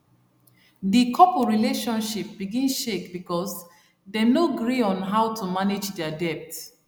di couple relationship begin shake because dem no gree on how to manage their debt